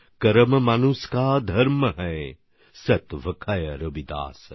কর্ম মানুষ কা ধর্ম হ্যায় সত ভাখৈ রবিদাস